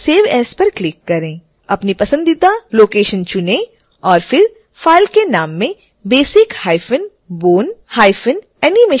अपनी पसंदीदा लोकेशन चुनें और फिर फ़ाइल के नाम में basic hyphen bone hyphen animation टाइप करें